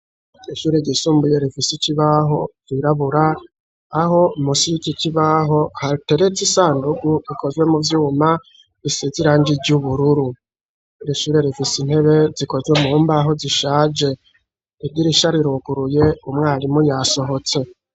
Ishure ryisumbuye rifise ikibaho cirabura, aho musi yik'ikibaho hateretse isandugu ikozwe mu vyuma isize irangi ry'ubururu, ir'ishure rifise intebe zikozwe mumbaho zishaje idirisha riruguruye umwarimu yasohotse.